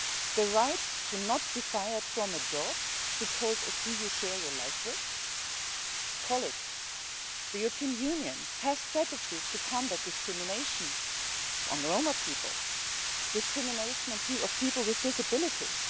The right not to be fired from a job because of who you share your life with? The European Union has strategies to combat discrimination against Roma people, discrimination against people with disabilities.